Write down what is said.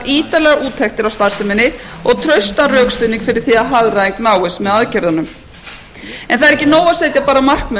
ítarlegar úttektir á starfseminni og traustan rökstuðning fyrir því að hagræðing náist með aðgerðunum það er ekki nóg að setja bara markmið um að hagræða